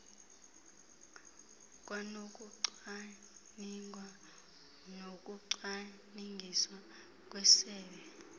kwanokucwaningwa nokucwangciswa kwesebe